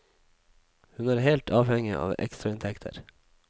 Hun er helt avhengig av ekstrainntekter.